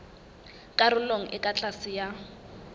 karolong e ka tlase ya